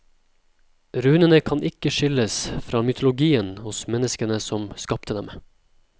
Runene kan ikke skilles fra mytologien hos menneskene som skapte dem.